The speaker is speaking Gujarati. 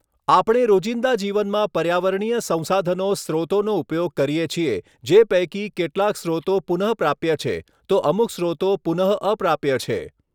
આપણે રોજીંદા જીવનમાં પર્યાવરણીય સંસાધનો સ્રોતોનો ઉપયોગ કરીએ છીએ જે પૈકી કેટલાક સ્રોતો પુનઃપ્રાપ્ય છે તો અમુક સ્રોતો પુનઃઅપ્રાપ્ય છે.